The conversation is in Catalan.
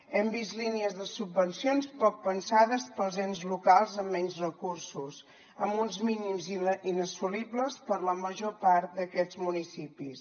hem vist línies de subvencions poc pensades per als ens locals amb menys recursos amb uns mínims inassolibles per a la major part d’aquests municipis